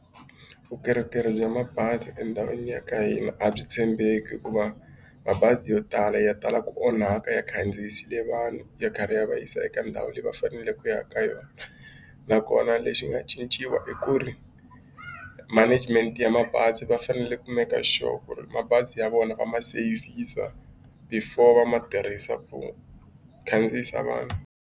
Vukorhokeri bya mabazi endhawini ya ka hina a byi tshembeki hikuva mabazi yo tala ya tala ku onhaka ya khandziyisile vanhu ya karhi ya va yisa eka ndhawu leyi va faneleke ku ya ka yona nakona lexi nga cinciwa i ku ri management ya mabazi va fanele ku make sure ku ri mabazi ya vona va ma sevhisa before va ma tirhisa ku khandziyisa vanhu.